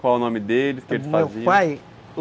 Qual o nome deles, o que eles faziam? Meu pai